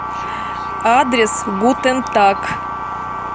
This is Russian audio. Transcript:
адрес гутентаг